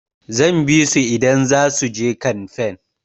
Zan bisu idan zasu je kanfen.